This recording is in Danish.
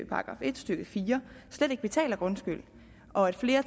§ en stykke fire slet ikke betaler grundskyld og at flere